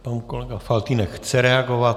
Tak kolega Faltýnek chce reagovat.